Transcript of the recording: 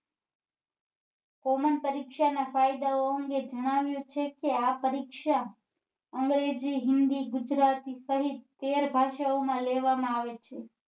Common પરીક્ષા ના ફાયદા ઓ અંગે જણાવ્યું છે કે આ પરીક્ષા અંગ્રેજી હિન્દી ગુજરાતી સહિત તેર ભાષાઓ માં લેવા માં આવે છે